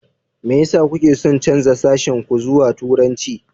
Me yasa kuke son canza sashen ku zuwa Turanci?